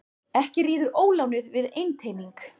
Ekki ríður ólánið við einteyming.